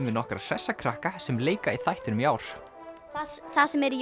við nokkra hressa krakka sem leika í þættinum í ár það sem er í